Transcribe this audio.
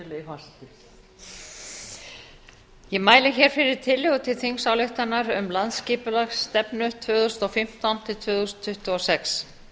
virðulegi forseti ég mæli hér fyrir tillögu til þingsályktunar um landsskipulagsstefnu tvö þúsund og fimmtán til tvö þúsund tuttugu og sex